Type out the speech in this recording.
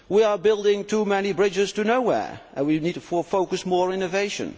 We are building too many bridges to nowhere and we need to focus more on innovation.